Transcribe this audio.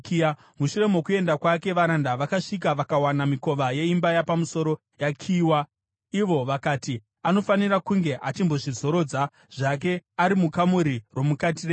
Mushure mokuenda kwake, varanda vakasvika vakawana mikova yeimba yapamusoro yakiyiwa. Ivo vakati, “Anofanira kunge achimbozvizorodza zvake ari mukamuri romukati reimba.”